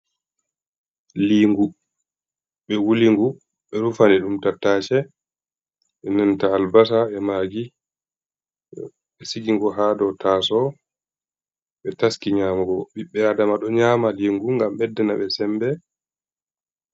Lingu be wulingu be rufani ɗum tattace ɓe nanta albasa e maagi ɓe sigingu ha dow taso ɓe taski nyamugo ɓibbe adama do nyama lingu gam beddana be sembe.